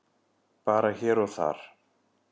Bara hér og þar.